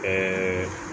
Ɛɛ